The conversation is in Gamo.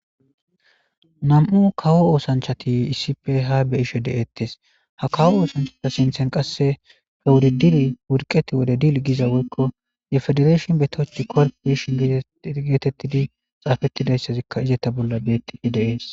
nam7u kawo oosanchati iisipe ha beishe deeettes ha kawo oosanchata sinthen qasse he wuridiri wurqeti wode dil giza woykko ye federeeshon betochi korp beishon igeetettidi xaafettidayssazikka izeta bolla beettii deees